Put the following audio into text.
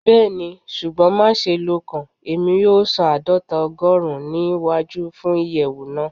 Bẹẹni, ṣugbọn maṣe lokan Emi yoo san aadọta ogorun ni iwaju fun iyẹwu naa